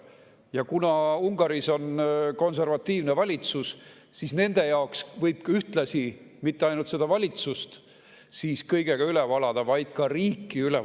Ja kuna Ungaris on konservatiivne valitsus, siis nende võib ühtlasi mitte ainult seda valitsust kõigega üle valada, vaid ka riiki.